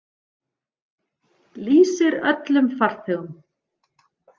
Lýsir öllum farþegum.